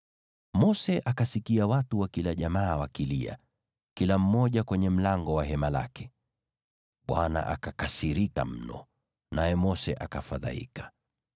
Mose akasikia watu wa kila jamaa wakilia, kila mmoja kwenye mlango wa hema lake. Bwana akakasirika mno, naye Mose akafadhaika.